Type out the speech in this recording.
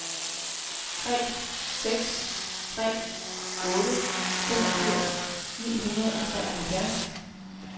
tre seks tre otte femogfirs ni hundrede og treoghalvfjerds